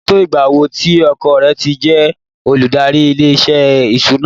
Ó ti tó ìgbà wo tí ọkọ rẹ̀ ti jẹ́ olùdarí ilé-iṣẹ́ ìṣúná?